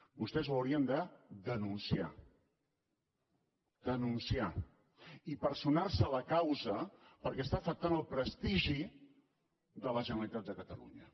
vostès ho haurien de denunciar denunciar i personar se a la causa perquè està afectant el prestigi de la generalitat de catalunya